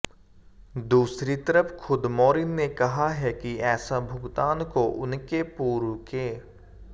दूसरी तरफ खुद मारिन ने कहा है कि ऐसा भुगतान को उनके पूर्व के